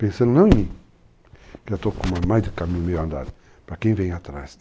Pensando não em mim, que já estou com mais de caminho meio andado, para quem vem atrás.